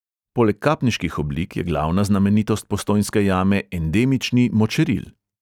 Poleg kapniških oblik je glavna znamenitost postojnske jame endemični močeril.